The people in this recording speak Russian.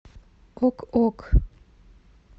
ок ок